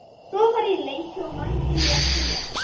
Svo var farið í leiki og Mangi lék sér með.